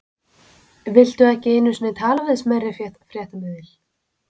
Viltu ekki einu sinni tala við smærri fréttamiðil?